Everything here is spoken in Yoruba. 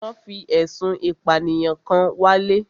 Wọ́n fi ẹ̀sùn ìpànìyàn kan wálé.